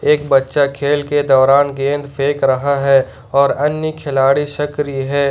एक बच्चा खेल के दौरान गेंद फेंक रहा है और अन्य खिलाड़ी सक्रिय है।